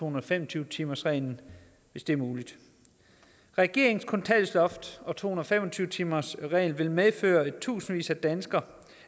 og fem og tyve timersreglen hvis det er muligt regeringens kontanthjælpsloft og to hundrede og fem og tyve timersregel vil medføre at i tusindvis af danskere